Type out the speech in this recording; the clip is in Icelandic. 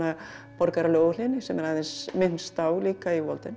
borgaralegu óhlýðni sem er aðeins minnst á líka í